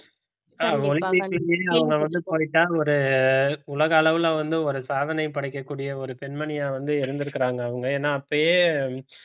அவங்க வந்து திரும்பி அவங்க வந்து போயிட்டா ஒரு உலக அளவுல வந்து ஒரு சாதனை படைக்கக்கூடிய ஒரு பெண்மணியா வந்து இருந்திருக்காங்க அவங்க ஏன்னா அப்பயே